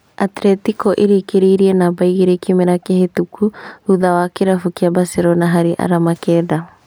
Atletico ĩrĩkĩrĩirie namba igĩrĩ kĩmera kĩhetũku thutha wa kĩrabu kĩa Barcelona harĩ arama Kenda